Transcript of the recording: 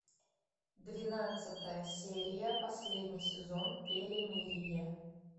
двенадцатая серия последний сезон перемирие